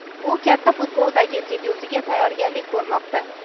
u katta futboldagi debyutiga tayyorgarlik ko‘rmoqda.